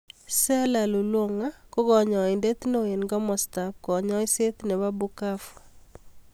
Sela lulonga ko kanyoindet neo eng komasta ab kanyoiset nebo Bukavu.